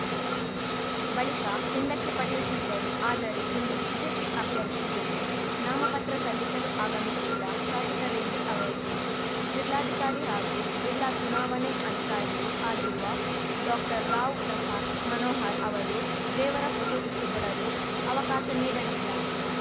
ಬಳಿಕ ಹಿಂದಕ್ಕೆ ಪಡೆಯುತ್ತಿದ್ದರು ಆದರೆ ಇಂದು ಬಿಜೆಪಿ ಅಭ್ಯರ್ಥಿ ಜೊತೆ ನಾಮಪತ್ರ ಸಲ್ಲಿಸಲು ಆಗಮಿಸಿದ್ದ ಶಾಸಕ ರೆಡ್ಡಿ ಅವರಿಗೆ ಜಿಲ್ಲಾಧಿಕಾರಿ ಹಾಗೂ ಜಿಲ್ಲಾ ಚುನಾವಣೆ ಅಧಿಕಾರಿಯೂ ಆಗಿರುವ ಡಾಕ್ಟರ್ರಾವ್ ಪ್ರಸಾತ್‌ ಮನೋಹರ್‌ ಅವರು ದೇವರ ಫೋಟೋ ಇಟ್ಟುಕೊಡಲು ಅವಕಾಶ ನೀಡಲಿಲ್ಲ